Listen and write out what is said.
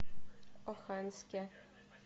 оханске